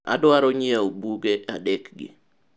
adwaro nyiewo buge adek gi